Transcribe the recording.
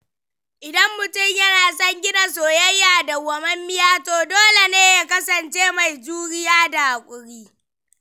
Idan mutum yana son gina soyayya dauwamammiya, to dole ne ya kasance mai juriya da haƙuri.